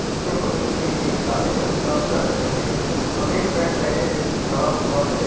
इसके बगल में काले रंग का शर्ट पहने सफेद पेंट व्यक्ति खड़ा हुआ है।